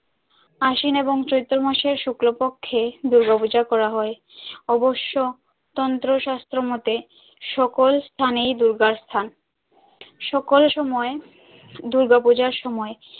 আশ্বিন এবং চৈত্র মাসের শুক্লপক্ষে দুর্গা পূজা করা হয় অবশ্য তন্ত্র শাস্ত্র মতে সকল স্থানেই দূর্গার স্থান সকল সময়ে দুর্গা পূজার সময়।